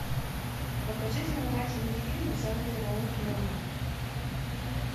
покажи занимательный фильм в жанре роуд муви